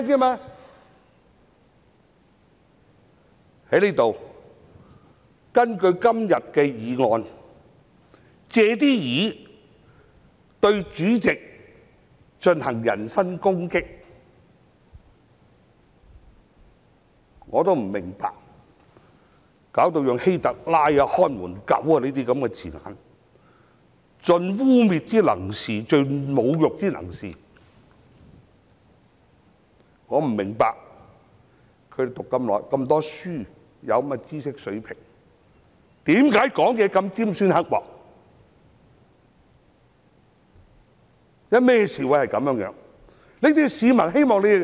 在這裏，有人藉今天的議案對主席進行人身攻擊，更引用希特勒、"看門狗"等字眼，盡污衊、侮辱之能事，我不明白，議員們擁有如此高學歷和知識水平，為何說話如此尖酸刻薄？